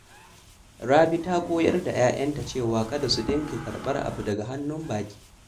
Rabi ta koyar da ‘ya’yanta cewa kada su dinga karɓan abu daga hannun baƙi.